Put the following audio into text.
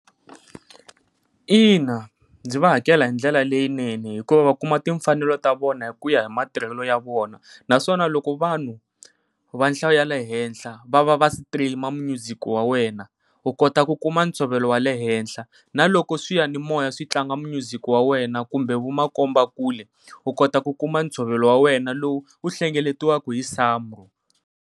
Ina ndzi va hakela hi ndlela leyinene, hikuva va kuma timfanelo ta vona hikuya hi matirhelo ya vona naswona loko vanhu va nhlayo ya le henhla va va va stream music wa wena u kota ku kuma ntshovelo wa le henhla. Na loko swiyanimoya switlanga music wa wena kumbe vo makombakule u kota ku kuma ntshovelo wa wena lowu wu hlengeletiwaku hi SAMRO.